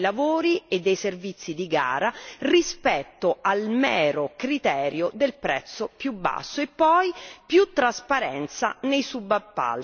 per i criteri di qualità nella selezione dei lavori e dei servizi di gara rispetto al mero criterio del prezzo più basso.